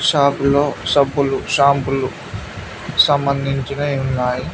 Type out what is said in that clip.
Shop లో సబ్బులు షాంపులు సంబందించినవి ఉన్నాయి.